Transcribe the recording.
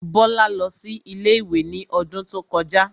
Bọ́lá lọ sí ilé-ìwé ní odún tó kọjá